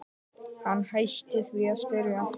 Hann hætti því að spyrja.